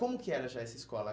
Como que era já essa escola?